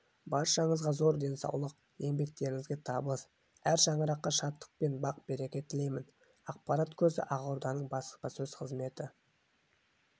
баршаңызға зор денсаулық еңбектеріңізге табыс әр шаңыраққа шаттық пен бақ-береке тілеймін ақпарат көзі ақорданың баспасөз қызметі